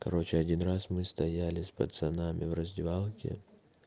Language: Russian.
короче один раз мы стояли с пацанами в раздевалке